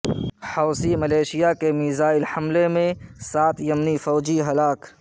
Houthi militia کے missile حملے میں سات یمنی فوجی ہلاک